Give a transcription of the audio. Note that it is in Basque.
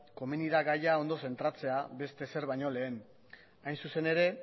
komeni da gaia ondo zentratzea beste ezer baino lehen hain zuzen ere